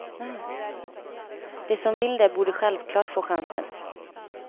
De som vill det borde självklart få chansen.